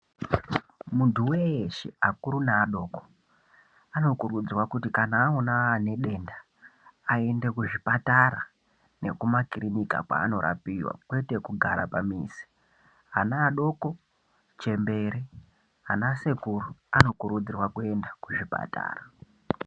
Muntu veshe akuru naadoko anokurudzirwa kuti kana aona anedenda aende kuzvipatara nekumakirinika kwanirapiva kwete kugaa pamizi. Ana adoko, chembere anasekuru anokurudzirwa kuenda kuzvipatara.